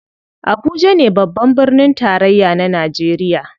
Abuja ne babban birnin tarayya na najeriya.